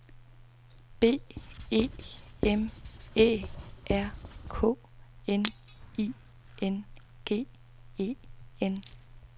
B E M Æ R K N I N G E N